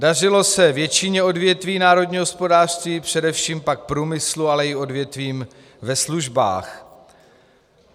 Dařilo se většině odvětví národního hospodářství, především pak průmyslu, ale i odvětvím ve službách.